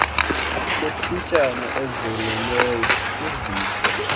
lethutyana ezelelweyo uzise